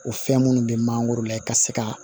O fɛn minnu bɛ mangoro la ka se ka